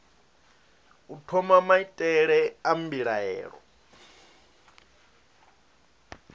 u thoma maitele a mbilaelo